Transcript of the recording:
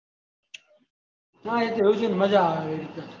હા એ તો એવું હોય મજા આવે એ રીતે